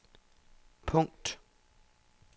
punkt